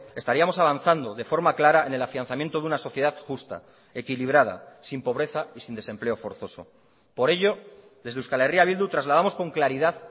estaríamos avanzando de forma clara en el afianzamiento de una sociedad justa equilibrada sin pobreza y sin desempleo forzoso por ello desde euskal herria bildu trasladamos con claridad